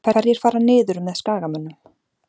Hverjir fara niður með Skagamönnum?